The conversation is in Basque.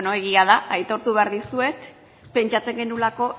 egia da aitortu behar dizuet pentsatzen genuelako